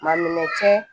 Man minɛ cɛ